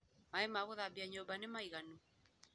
Maaĩ ma gũthambia nyũmba nĩmaiganu?